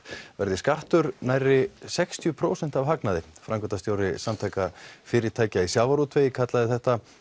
verði skattur nærri sextíu prósent af hagnaði framkvæmdastjóri Samtaka fyrirtækja í sjávarútvegi kallaði þetta